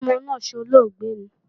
Sọ́mọ náà solóògbé ni?